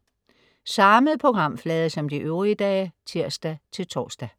Samme programflade som de øvrige dage (tirs-tors)